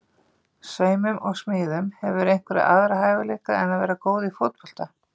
Saumum og smíðum Hefurðu einhverja aðra hæfileika en að vera góð í fótbolta?